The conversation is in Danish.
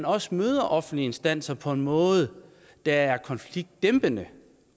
også møder offentlige instanser på en måde der er konfliktdæmpende